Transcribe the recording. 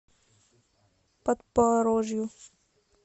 подпорожью